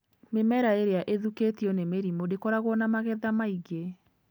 Mĩmera ĩrĩa ĩthũkĩtio nĩ mĩrimũ ndĩkoragwo na magetha maingĩ.